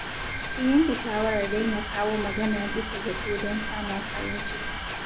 Sun yanke shawarar daina kawo magana bisa zato don samun farin ciki.